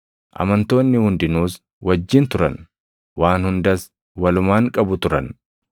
Amantoonni hundinuus wajjin turan; waan hundas walumaan qabu turan.